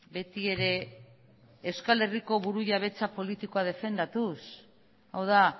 beti ere euskal herriko burujabetza politikoa defendatuz hau da